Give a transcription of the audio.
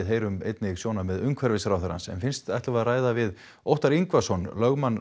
heyrum einnig sjónarmið umhverfisráðherrans en fyrst ætlum við að ræða við Óttar Yngvason lögmann